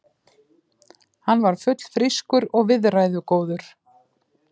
Hann var fullfrískur og viðræðugóður.